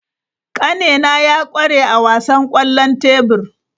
Kanena ya kware a wasan kwallon tebur.